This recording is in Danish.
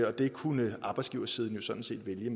og det kunne arbejdsgiversiden jo sådan set vælge